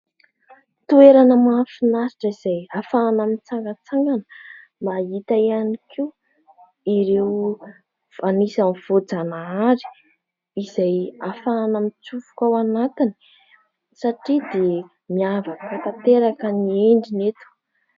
Toerana mahafinaritra izay ahafahana mitsangantsangana. Mahita ihany koa ireo anisany voajanahary izay ahafahana mitsofoka ao anatiny satria dia miavaka tanteraka ny endriny eto.